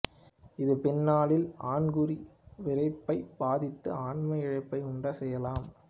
இது பின்னாளில் ஆண்குறி விறைப்பைப் பாதித்து ஆண்மையிழப்பை உண்டு செய்யலாம்